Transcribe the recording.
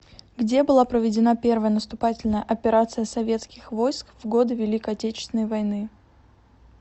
где была проведена первая наступательная операция советских войск в годы великой отечественной войны